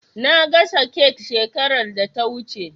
Na gasa kek shekarar da ta wuce.